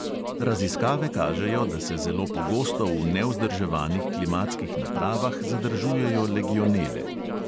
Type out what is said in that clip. Raziskave kažejo, da se zelo pogosto v nevzdrževanih klimatskih napravah zadržujejo legionele.